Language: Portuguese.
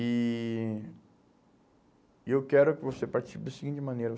E e eu quero que você participe da seguinte maneira.